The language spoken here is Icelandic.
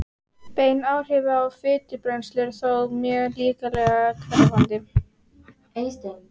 bein áhrif á fitubrennslu eru þó mjög líklega hverfandi